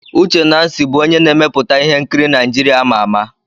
Uche Nancy bụ onye na-emepụta ihe nkiri Naijiria ama ama.